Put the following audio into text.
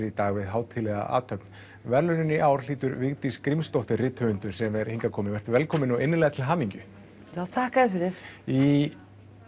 í dag við hátíðlega athöfn verðlaunin í ár hlýtur Vigdís Grímsdóttir rithöfundur sem er hingað komin vertu velkomin og innilega til hamingju já þakka þér fyrir í